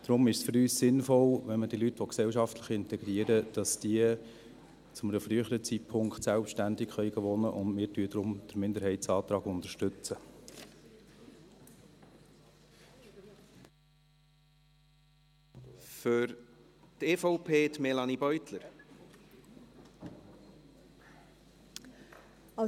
Deshalb ist es für uns sinnvoll, dass diese Leute, wenn man sie gesellschaftlich integrieren will, zu einem früheren Zeitpunkt selbstständig wohnen können, und deshalb unterstützen wir den Minderheitsantrag.